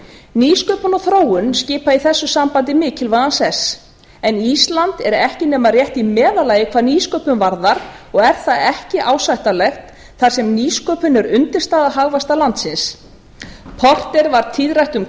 nýsköpun og þróun skipa í þessu sambandi mikilvægan sess en ísland er ekki nema rétt í meðallagi hvað nýsköpun varðar og er það ekki ásættanlegt þar sem nýsköpun er undirstaða hagvaxtar landsins porter var tíðrætt um